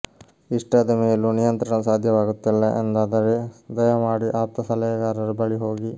ಇಷ್ಟಾದ ಮೇಲೂ ನಿಯಂತ್ರಣ ಸಾಧ್ಯವಾಗುತ್ತಿಲ್ಲ ಎಂದಾದರೆ ದಯಮಾಡಿ ಆಪ್ತ ಸಲಹೆಗಾರರ ಬಳಿ ಹೋಗಿ